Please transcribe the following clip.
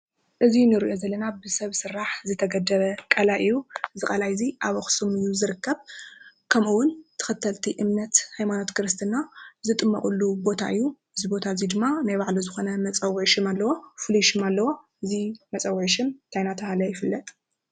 እዚ ንሪኦ ዘለና ብሰብ ስራሕ ዝተገደበ ቃላይ እዩ፡፡ እዚ ቓላይ እዚ ኣብ ኣኽሱም እዩ ዝርከብ ከምኡ ውን ተኸተልቲ እምነት ሃይማኖት ክርስትና ዝጥመቕሉ ቦታ እዩ፡፡ እዚ ቦታ ናይ ባዕሉ ዝኾነ መፀውዒ ሽም ኣለዎ፡፡ እዚ መፀውዒ እንታይ እንዳተባህለ ይፍለጥ?